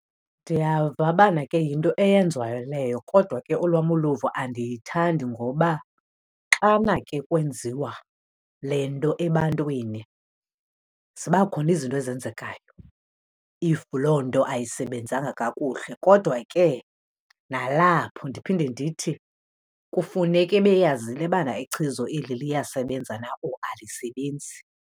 Ndiyava bana ke yinto eyenziwayo leyo. Kodwa ke olwam uluvo andiyithandi ngoba xana ke kwenziwa le nto ebantwini, ziba khona izinto ezenzekayo if loo nto ayisebenzanga kakuhle. Kodwa ke nalapho ndiphinde ndithi, kufuneke beyazile bana ichiza eli liyasebenza na or alisebenzi.